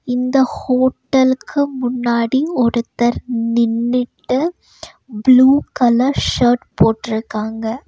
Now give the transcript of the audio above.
இந்த ஹோட்டலுக்கு முன்னாடி ஒருத்தர் நின்னுட்டு ப்ளூ கலர் ஷர்ட் போட்ருக்காங்க.